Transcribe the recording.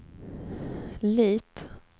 Lit